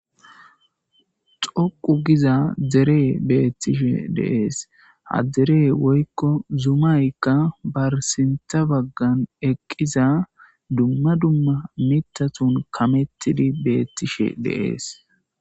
Xoqu giza dere betishe de'es ha dere woyko zumayka barista bagan eqizaysanne duma duma mithatun kametidi betishe de'es.